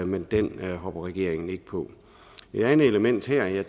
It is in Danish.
men den hopper regeringen ikke på et andet element her